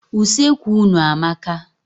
Useekwu unu amaka.